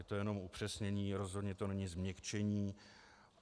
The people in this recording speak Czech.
Je to jenom upřesnění, rozhodně to není změkčení.